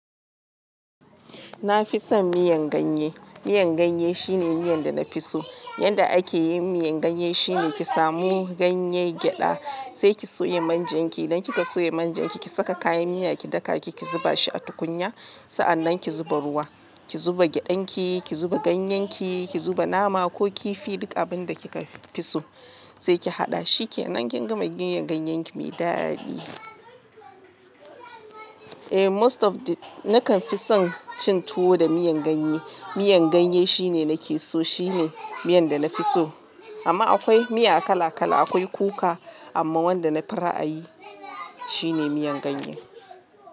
Na fi son miyan ganye. Miyar ganye shine miyan da na fi so. Yadda ake yin miyan ganye shine ki samu ganyen gyada, sai ki soya manjan ki. Dan kika soya manjan ki, ki saka kayan miya ki daka ki zuba shi a tukunya. Sa'annan ki zuba ruwa, ki zuba gyadan ki, ki zuba ganyen ki, ki zuba nama ko kifi duk abin da kika fi so sai ki haɗa. Shi ke nan kin gama miyan ganyen ki mai daɗi. Eh, most of the nakan fi son cin tuwo da miyan ganye. Miyar ganye shine nake so. Shine miyan da na fi so. Amma akwai miya kala kala, akwai kuka, amma wanda na fi ra'ayi shine miyan ganye.